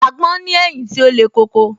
Àgbon ní ẹ̀yìn tí ó le koko